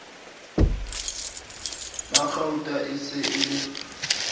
magauta e se e le